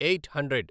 eight hundred